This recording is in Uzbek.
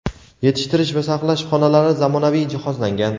yetishtirish va saqlash xonalari zamonaviy jihozlangan.